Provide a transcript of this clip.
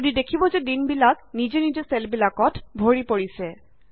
আপুনি দেখিব যে দিনবিলাক নিজে নিজে চেলবিলাকত ভৰি পৰিছে